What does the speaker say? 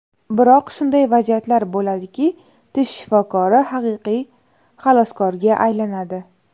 Biroq shunday vaziyatlar bo‘ladiki, tish shifokori haqiqiy xaloskorga aylanadi.